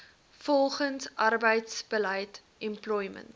volgens arbeidsbeleid employment